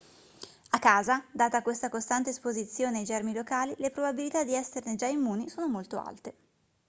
a casa data questa costante esposizione ai germi locali le probabilità di esserne già immuni sono molto alte